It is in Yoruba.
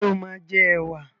Ṣé o máa jẹ ẹwà?